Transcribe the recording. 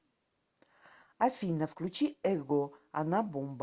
афина включи эго она бомба